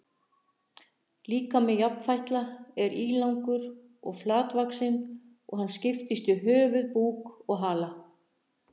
Líkami jafnfætla er ílangur og flatvaxinn og hann skiptist í höfuð, búk og hala.